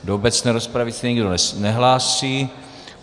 Do obecné rozpravy se nikdo nehlásí.